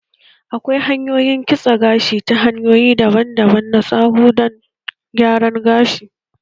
Akwai Salon kitsa gashi ta hanyoyi daban-daban na tsararu dan gyaran gashi